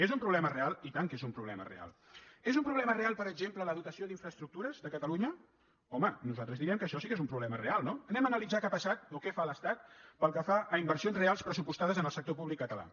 és un problema real i tant que és un problema real és un problema real per exemple la dotació d’infraestructures a catalunya home nosaltres diríem que això sí que és un problema real no anem a analitzar què ha passat o què fa l’estat pel que fa a inversions reals pressupostades en el sector públic català